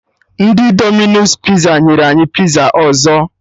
Ndị Dominos Piza nyere anyị piza ọzọ